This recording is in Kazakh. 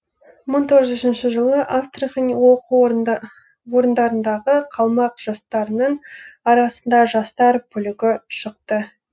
мың тоғыз жүз үшінші жылы астрахань оқу орындарындағы қалмақ жастарының арасында жастар бүлігі шықты